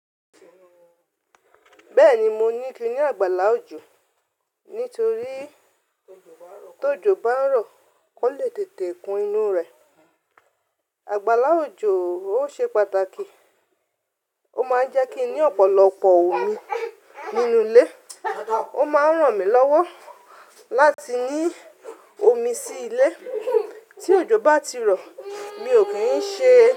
Bẹ́ẹ̀ni mo ní kí n ní àgbàlá òjò nítorí tó ìjò bá ń rọ, kò lè tètè kún inú rẹ̀. Àgbàlá òjò ó ṣe pàtàkì, ó máa ń jẹ́ kí n ní ọ̀pọ̀lọpọ̀ omi nínú ilé, ó máa ń ràn mí lọ́wọ́ láti ní omi sí ilé tí òjò bá ti rọ̀. Mi ò kín ṣe.